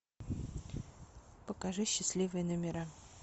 покажи счастливые номера